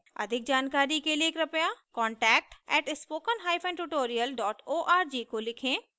अधिक जानकारी के लिए कृपया contact @spokentutorial org को लिखें